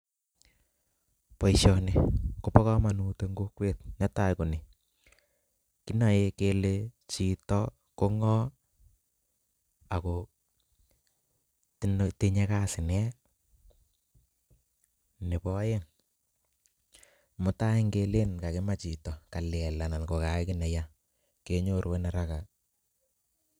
Boishoni kobokomonut en kokwet, netaa konii, kinoe kele chito ko ng'o ako tinye kasi nee, nebo oeng mutai ng'eleen kimoe chito kalel anan ko kayai kiit netai kenyoru araka.